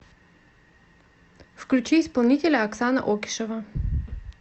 включи исполнителя оксана окишева